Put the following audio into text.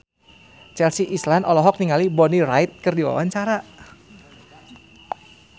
Chelsea Islan olohok ningali Bonnie Wright keur diwawancara